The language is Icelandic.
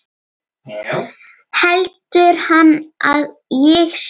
Heldur hann að ég sé.